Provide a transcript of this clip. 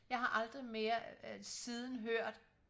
jeg har aldrig mere siden hørt